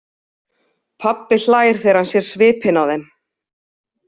Pabbi hlær þegar hann sér svipinn á þeim.